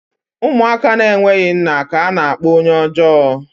Ụmụaka na-enweghị nna ka a na-akpọ onye ọjọọ